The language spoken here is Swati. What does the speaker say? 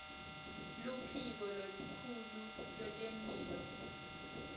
luphiko lolukhulu lwetemphilo